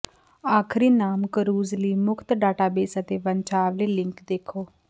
ਆਖਰੀ ਨਾਮ ਕਰੂਜ਼ ਲਈ ਮੁਫ਼ਤ ਡਾਟਾਬੇਸ ਅਤੇ ਵੰਸ਼ਾਵਲੀ ਲਿੰਕ ਦੇਖੋ